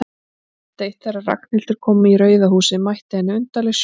Kvöld eitt, þegar Ragnhildur kom í Rauða húsið, mætti henni undarleg sjón.